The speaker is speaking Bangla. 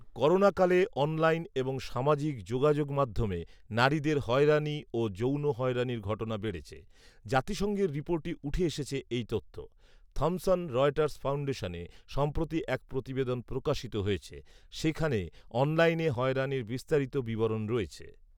করোনাকালে অনলাইন এবং সামাজিক যোগাযোগেমাধ্যমে নারীদের হয়রানি ও যৌন হয়রানির ঘটনা বেড়েছে৷ জাতিসংঘের রিপোর্টে উঠে এসেছে এই তথ্য৷থমসন রয়টার্স ফাউন্ডেশনে সম্প্রতি এক প্রতিবেদন প্রকাশিত হয়েছে৷ সেখানে অনলাইনে হয়রানির বিস্তারিত বিবরণ রয়েছে।